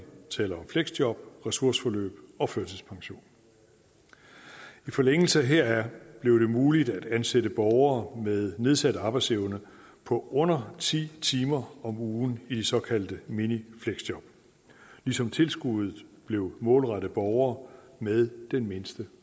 taler om fleksjob ressourceforløb og førtidspension i forlængelse heraf blev det muligt at ansætte borgere med nedsat arbejdsevne på under ti timer om ugen i de såkaldte minifleksjob ligesom tilskuddet blev målrettet borgere med den mindste